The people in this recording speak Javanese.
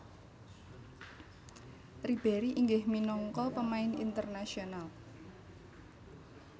Ribéry inggih minangka pemain internasional